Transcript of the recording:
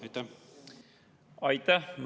Aitäh!